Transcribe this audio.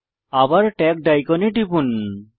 আবার ট্যাগড আইকনে টিপুন